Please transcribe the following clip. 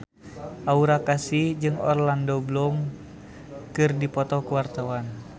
Aura Kasih jeung Orlando Bloom keur dipoto ku wartawan